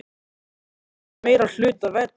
Er að því meiri hluta vetrar.